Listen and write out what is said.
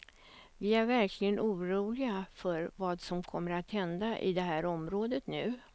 Vi är verkligen oroliga för vad som kommer att hända i det här området nu.